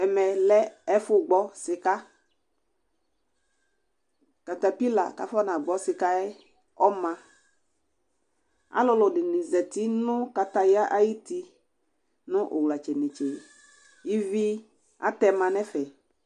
Ɛmɛ lɛ ɛfʋ gbɔ sɩƙaƘatapɩla ƙafɔna gbɔ sɩƙa ƴɛ ɔmaAlʋlʋ ɖɩnɩ zati nʋ ƙataƴa aƴʋti nʋ ʋwlatsɛnetse ,ivi atɛma nʋ ɛfɛ